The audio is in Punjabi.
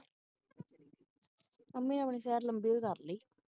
mummy ਨੇ ਆਪਣੀ ਸੈਰ ਲੰਬੀ ਓਹੀ ਕਰ ਲਈ